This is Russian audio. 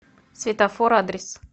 светофор адрес